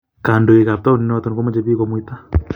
Kondowek ab taonit noton komoche biik gomuita.